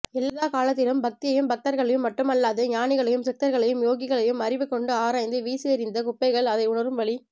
எல்லாகாலத்திலும் பக்தியையும் பக்தர்களையும் மட்டுமல்லாது ஞானிகளையும் சித்தர்களையும் யோகிகளையும் அறிவு கொண்டு ஆராய்ந்து வீசியெறிந்த குப்பைகள் அதை உணரும் வலி